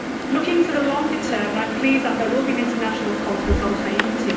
Looking to the longer term, I am pleased that there will be an international conference on Haiti.